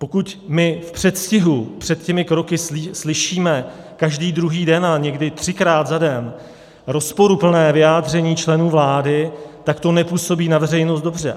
Pokud my v předstihu před těmi kroky slyšíme každý druhý den a někdy třikrát za den rozporuplné vyjádření členů vlády, tak to nepůsobí na veřejnost dobře.